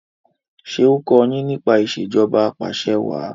ṣe o kò yín nípa Ìṣèjọba Apàṣẹwàá